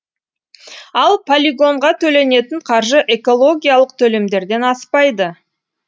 ал полигонға төленетін қаржы экологиялық төлемдерден аспайды